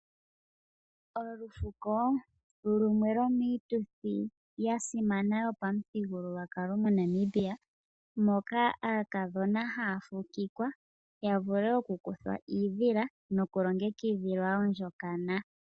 Olufuko lumwe lwomiituthi ya simana yopamuthigululwakalo moNamibia, moka aakadhona haa fukikwa ya vule okukuthwa iidhila nokulongekidhilwa ondjokana.